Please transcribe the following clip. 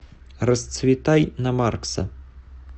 расцветай на маркса